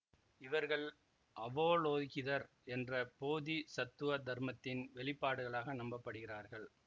இவர்கள் அவலோகிதர் என்ற போதிசத்துவ தர்மத்தின் வெளிப்பாடுகளாக நம்பப்படுகிறார்கள்